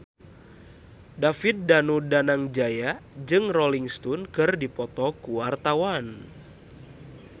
David Danu Danangjaya jeung Rolling Stone keur dipoto ku wartawan